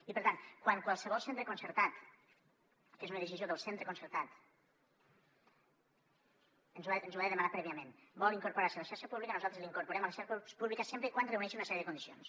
i per tant quan qualsevol centre concertat que és una decisió del centre concertat ens ho ha de demanar prèviament vol incorporar se a la xarxa pública nosaltres l’incorporem a la xarxa pública sempre que reuneixi una sèrie de condicions